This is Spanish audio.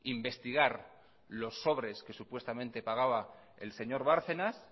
investigar los sobres que supuestamente pagaba el señor bárcenas